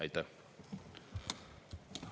Aitäh!